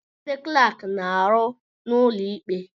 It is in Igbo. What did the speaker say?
Ndị klaaki na-arụ n'ụlọ ikpe.